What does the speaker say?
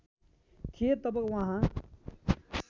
थिए तब वहाँ